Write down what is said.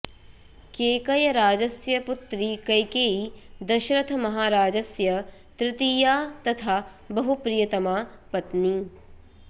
केकयराजस्य पुत्री कैकेयी दशरथमहाराजस्य तृतीया तथा बहुप्रियतमा पत्नी